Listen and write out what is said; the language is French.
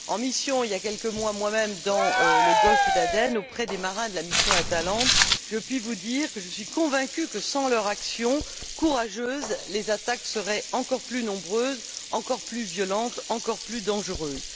En mission moi même, il y a quelques mois, dans le golfe d'Aden auprès des marins de la mission Atalante, je puis vous dire que je suis convaincue que, sans leur action courageuse, les attaques seraient encore plus nombreuses, encore plus violentes et encore plus dangereuses.